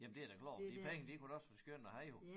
Jamen det er da klart de penge de kunne da også være skønne at have jo